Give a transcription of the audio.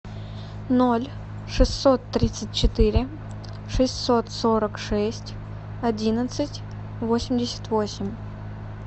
ноль шестьсот тридцать четыре шестьсот сорок шесть одиннадцать восемьдесят восемь